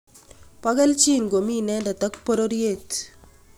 po kelchiin komii inendet ak pororyeet